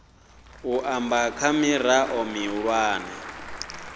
u amba kha mirao mihulwane